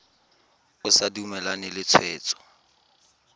o sa dumalane le tshwetso